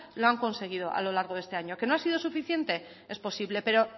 lo han conseguido a lo largo de este año qué no ha sido suficiente es posible pero